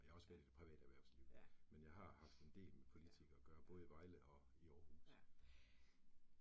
Jeg har også været i det private erhvervsliv, men jeg har haft en del med politikere at gøre både i Vejle og i Aarhus